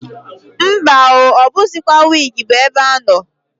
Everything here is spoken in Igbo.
Mba o! O buzikwa wigi bu ebe ano.